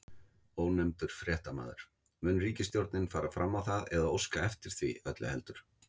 Ónefndur fréttamaður: Mun ríkisstjórnin fara fram á það, eða óska eftir því öllu heldur?